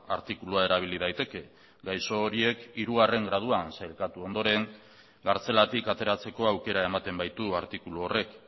artikulua erabili daiteke gaixo horiek hirugarren graduan sailkatu ondoren kartzelatik ateratzeko aukera ematen baitu artikulu horrek